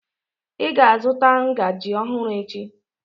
Ị ga-azụta ngaji ọhụrụ echi!